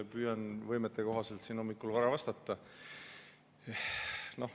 Püüan võimete kohaselt siin hommikul vara vastata.